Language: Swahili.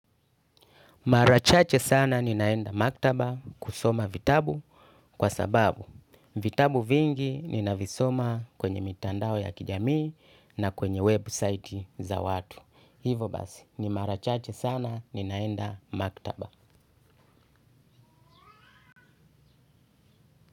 Mara chache sana ninaenda maktaba kusoma vitabu kwa sababu vitabu vingi ninavisoma kwenye mitandao ya kijamii na kwenye website za watu. Hivo basi, ni mara chache sana ninaenda maktaba.